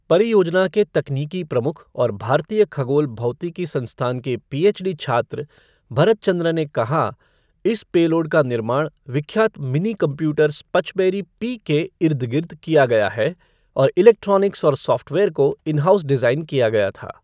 परियोजना के तकनीकी प्रमुख और भारतीय खगोल भौतिकी संस्थान के पीएचडी छात्र, भरत चंद्र ने कहा, इस पेलोड का निर्माण विख्यात मिनी कंप्यूटर स्पचबेरी पी के इर्द गिर्द किया गया है और इलेक्ट्रॉनिक्स और सॉफ़्टवेयर को इन हाउस डिजाइन किया गया था।